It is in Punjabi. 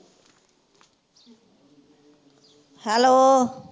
hello